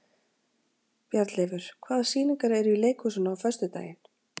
Bjarnleifur, hvaða sýningar eru í leikhúsinu á föstudaginn?